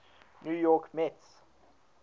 new york mets